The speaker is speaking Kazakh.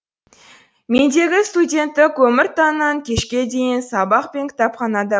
мендегі студенттік өмір таңнан кешке дейін сабақ пен кітапханада